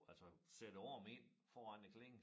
Altså sætte æ arm ind foran æ klinge